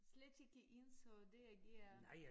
Slet ikke ens og det er giver